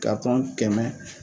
kɛmɛ